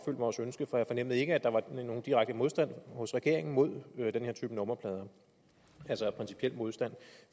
vores ønske for jeg fornemmede ikke at der var nogen direkte modstand hos regeringen mod den her type nummerplade altså principiel modstand